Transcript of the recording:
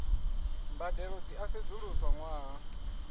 mbadelo dzi a sedzuluswa ṅwaha